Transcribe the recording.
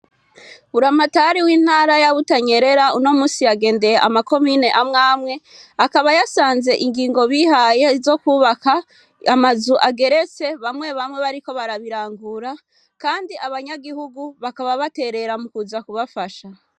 Buri amatari w'intara ya butanyerera uno musi yagendeye amakomine amwamwe akaba yasanze ingingo bihaye zo kwubaka amazu ageretse bamwe bamwe bariko barabirangura, kandi abanyagihugu bakaba baterera mu kuza kubafasha.